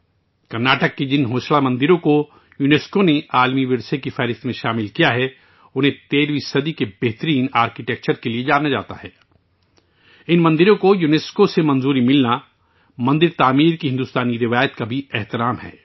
کرناٹک میں ہوئسلا مندر یونیسکو نے انھیں عالمی ثقافتی ورثے کی فہرست میں شامل کیا ہے، یہ 13 ویں صدی کے بہترین فن تعمیر کے لیے جانا جاتا ہے. یونیسکو کے ذریعے ان مندروں کو تسلیم کرنا بھی مندر کی تعمیر کی بھارتی روایت کو خراج تحسین ہے